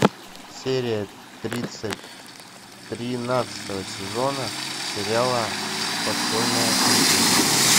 серия тридцать тринадцатого сезона сериала подпольная империя